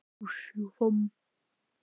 Sigríður: Hvað lækkar hún mikið?